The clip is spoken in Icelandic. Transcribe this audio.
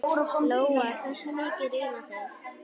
Lóa: Hversu mikið rýrna þær?